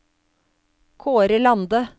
Kaare Lande